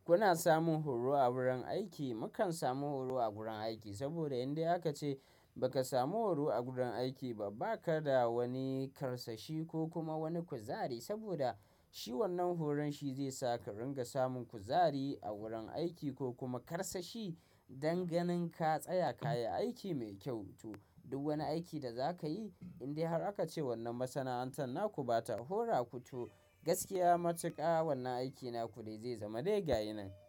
Kuna samun horo a wurin aiki, mukan samu horo a gurin aiki saboda indai aka ce ba ka samu horo a gurin aiki ba, ba ka da wani karsashi ko kuma wani kuzari saboda shi wannan horon shi zai sa ka ringa samun kuzari a wurin aiki ko kuma karsashi danganin ka tsaya ka yi aiki mai kyau. To duk wani aiki da za ka yi indai har aka ce wannan masana'anta na ku ba ta hora ku, to gaskiya matuƙa wannan aiki na ku dai zai zama dai gayinan.